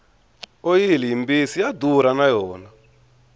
oyili yi mbisi ya durha na yona